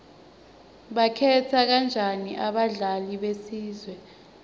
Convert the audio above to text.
bakhetha kanjani abadlali besizwe